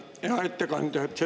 Hea ettekandja!